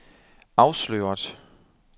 afsløret